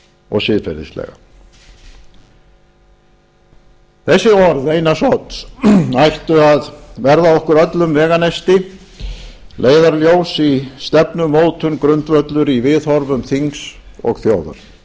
og siðferðislega þessi orð einars odds ættu að verða okkur öllum veganesti leiðarljós í stefnumótun grundvöllur í viðhorfum þings og þjóðar þau